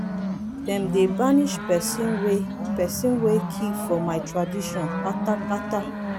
dem dey banish pesin wey pesin wey kill for my tradition kpata kpata.